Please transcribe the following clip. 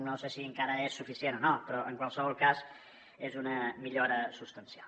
no sé si és suficient o no però en qualsevol cas és una millora substancial